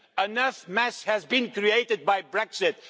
Enough mess has been created by Brexit